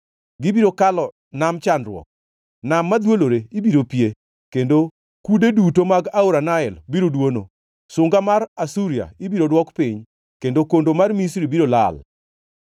Gibiro kalo nam chandruok; nam madhwolore ibiro pie, kendo kude duto mag aora Nael biro dwono. Sunga mar Asuria ibiro dwok piny kendo kondo mar Misri biro lal.